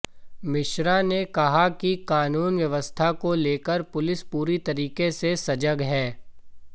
मिश्रा ने कहा कि कानून व्यवस्था को लेकर पुलिस पूरे तरीके से सजग है